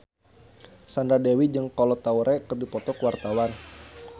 Sandra Dewi jeung Kolo Taure keur dipoto ku wartawan